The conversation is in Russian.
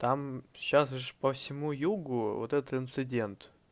там сейчас же по всему югу вот этот инцидент